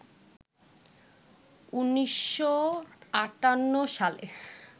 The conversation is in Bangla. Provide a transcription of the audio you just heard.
১৯৫৮ সালে